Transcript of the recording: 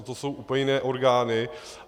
Na to jsou úplně jiné orgány.